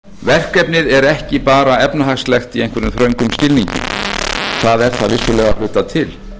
verkefnið er ekki bara efnahagslegt í einhverjum þröngum skilningi það er það vissulega að hluta til